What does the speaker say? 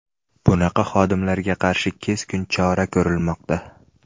Bunaqa xodimlarga qarshi keskin chora ko‘rilmoqda.